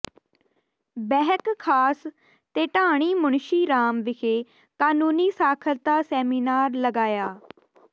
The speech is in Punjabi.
ਬਹਿਕ ਖਾਸ ਤੇ ਢਾਣੀ ਮੁਨਸ਼ੀ ਰਾਮ ਵਿਖੇ ਕਾਨੂੰਨੀ ਸਾਖਰਤਾ ਸੈਮੀਨਾਰ ਲਗਾਇਆ